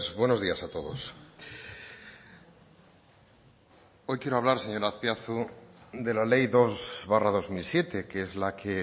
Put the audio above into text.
buenos días a todos hoy quiero hablar señor azpiazu de la ley dos barra dos mil siete que es la que